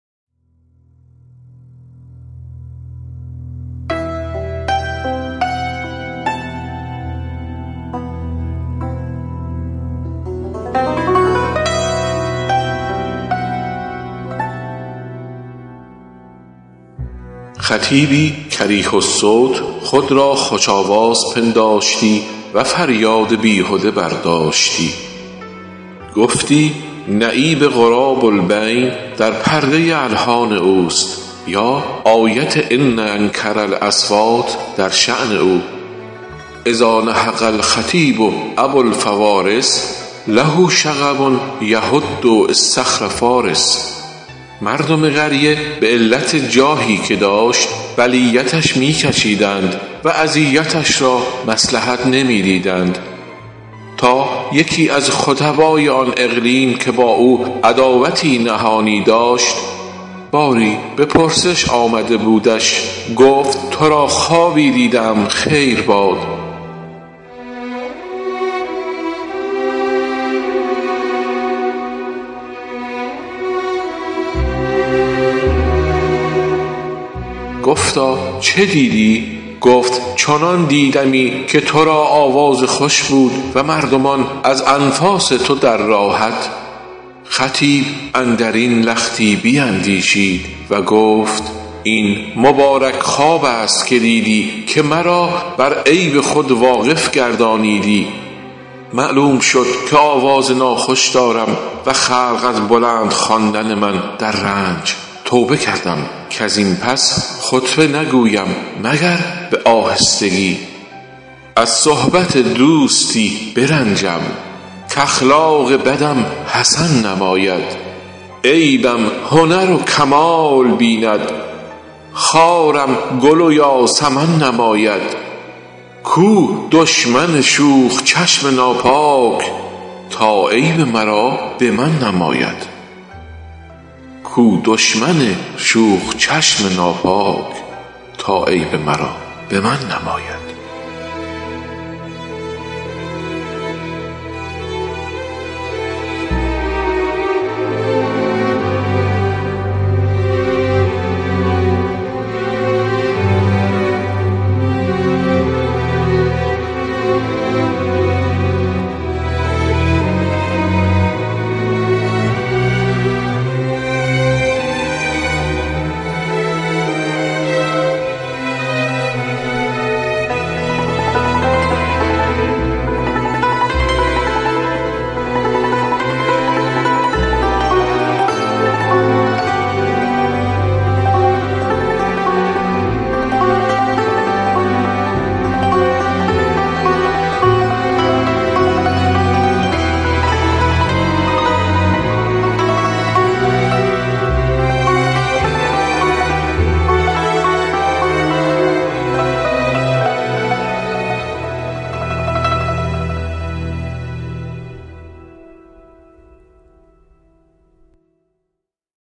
خطیبی کریه الصوت خود را خوش آواز پنداشتی و فریاد بیهده برداشتی گفتی نعیب غراب البین در پرده الحان اوست یا آیت ان انکر الاصوات در شأن او اذا نهق الخطیب ابوالفوارس له شغب یهد اصطخر فٰارس مردم قریه به علت جاهی که داشت بلیتش می کشیدند و اذیتش را مصلحت نمی دیدند تا یکی از خطبای آن اقلیم که با او عداوتی نهانی داشت باری به پرسش آمده بودش گفت تو را خوابی دیده ام خیر باد گفتا چه دیدی گفت چنان دیدمی که تو را آواز خوش بود و مردمان از انفاس تو در راحت خطیب اندر این لختی بیندیشید و گفت این مبارک خواب است که دیدی که مرا بر عیب خود واقف گردانیدی معلوم شد که آواز ناخوش دارم و خلق از بلند خواندن من در رنج توبه کردم کز این پس خطبه نگویم مگر به آهستگی از صحبت دوستی برنجم کاخلاق بدم حسن نماید عیبم هنر و کمال بیند خارم گل و یاسمن نماید کو دشمن شوخ چشم ناپاک تا عیب مرا به من نماید